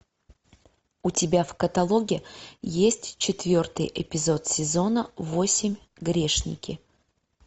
у тебя в каталоге есть четвертый эпизод сезона восемь грешники